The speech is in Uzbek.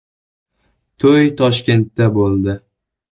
To‘y Toshkentda bo‘ldi.